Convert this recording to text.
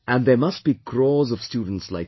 And there must be crores of students like you